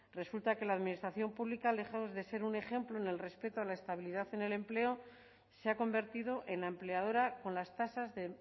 resulta que la administración pública lejos de ser un ejemplo en el respeto a la estabilidad en el empleo se ha convertido en la empleadora con las tasas de